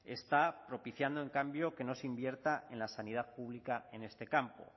está propiciando en cambio que no se invierta en la sanidad pública en este campo